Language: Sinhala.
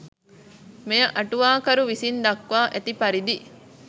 මෙය අටුවා කරු විසින් දක්වා ඇති පරිදි